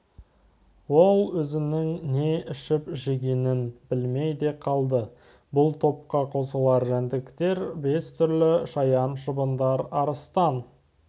ол өзінің не ішіп-жегенін білмей де қалды бұл топқа қосылатын жәндіктер бес түрлі шаян шыбындар арыстан